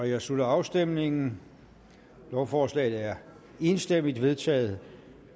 jeg slutter afstemningen lovforslaget er enstemmigt vedtaget